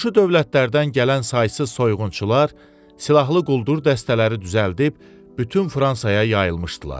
Qonşu dövlətlərdən gələn saysız soyğunçular silahlı quldur dəstələri düzəldib bütün Fransaya yayılmışdılar.